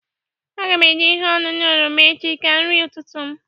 Aga m eji ihe ọṅụṅụ oroma echi ka nri ụtụtụ m.